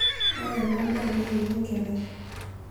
ore ena daa naa ene enkerai